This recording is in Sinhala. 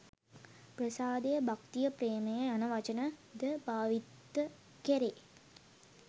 ප්‍රසාදය, භක්තිය ප්‍රේමය යන වචන ද භාවිත කෙරේ.